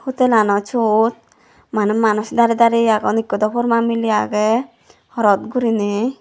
hutelano siyot maneh manuj darey darey agon ekko daw porma miley age horot gurinei.